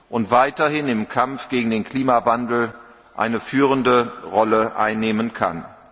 und weiterhin im Kampf gegen den Klimawandel eine führende Rolle einnehmen kann.